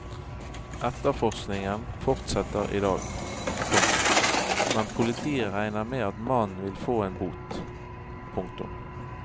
Etterforskningen fortsetter i dag, komma men politiet regner med at mannen vil få en bot. punktum